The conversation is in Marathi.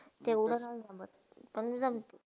तेवडा नाही जमत पण जमते.